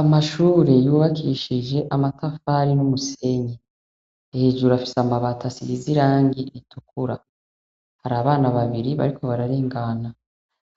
Amashure yubakishije amatafari n' umusenyi. Hejuru afise amabati asize irangi ritukura. Hari abana babiri bariko bararengana.